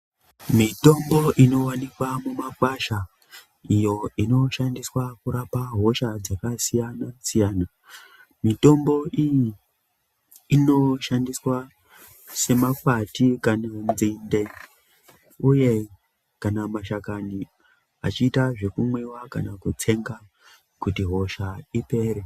Mitombo inowanikwa mumakwasha iyo inoshandiswa kurapa hosha dzakasiyana siyana mitombo iyi inoshandiswa semakwati kana nzinde uye kana mashakani achiita zvekumwiwa kana kutsenga kuti hosha ipere.